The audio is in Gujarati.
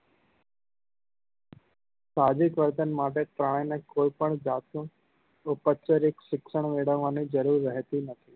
સાહસિક વર્તન માટે પ્રાણી ને કોઈ પણ જાત નું શિક્ષણ મેળવવા ની જરૂર રહેતી નથી